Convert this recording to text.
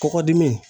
Kɔkɔdimi